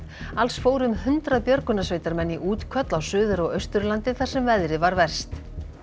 alls fóru um hundrað björgunarsveitarmenn í útköll á Suður og Austurlandi þar sem veðrið var verst